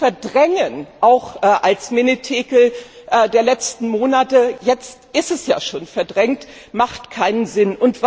zu verdrängen, auch als Menetekel der letzten Monate jetzt ist es ja schon verdrängt ergibt keinen Sinn!